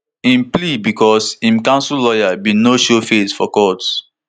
im plea becos im counsel lawyer bin no showface for court